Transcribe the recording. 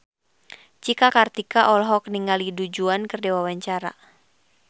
Cika Kartika olohok ningali Du Juan keur diwawancara